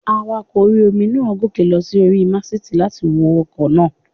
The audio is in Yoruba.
Awakọ̀ orí-omi náà gòkè lọ sí orí màsìtì láti wo ọkọ̀ náà